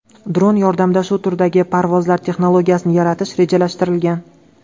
Dron yordamida shu turdagi parvozlar texnologiyasini yaratish rejalashtirilgan.